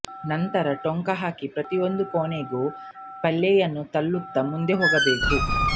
ನಂತರ ಟೊಂಕ ಹಾಕಿ ಪ್ರತಿಯೊಂದು ಕೋಣೆಗೂ ಪಲ್ಲೆಯನ್ನು ತಳ್ಳುತ್ತಾ ಮುಂದೆ ಹೋಗಬೇಕು